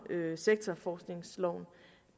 sektorforskningsloven